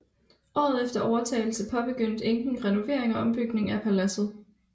Året efter overtagelse påbegyndte enken renovering og ombygning af paladset